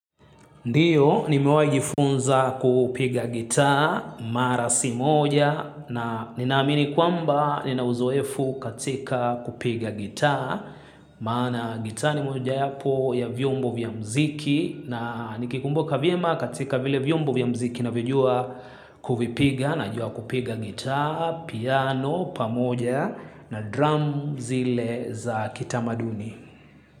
Ndiyo nimewahi jifunza kupiga gitaa mara si moja na ninaamini kwamba nina uzoefu katika kupiga gitaa maana gitaa ni mojayapo ya vyombo vya muziki na nikikumbuka vyema katika vile vyombo vya mziki navyojua kuvipiga najua kupiga gitaa, piano, pamoja na drum zile za kitamaduni.